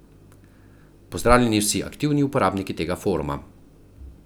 Pozdravljeni vsi aktivni uporabniki tega foruma.